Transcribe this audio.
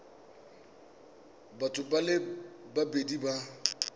batho ba le babedi ba